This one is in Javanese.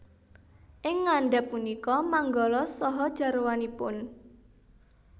Ing ngandhap punika manggala saha jarwanipun